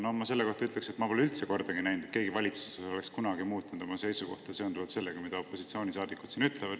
No ma selle kohta ütleks, et ma pole üldse kordagi näinud, et keegi valitsuses oleks kunagi muutnud oma seisukohta seonduvalt sellega, mida opositsioonisaadikud siin ütlevad.